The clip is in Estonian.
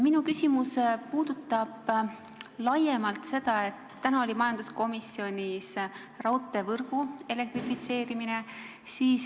Minu küsimus puudutab laiemalt seda, et täna oli majanduskomisjonis teemaks raudteevõrgu elektrifitseerimine.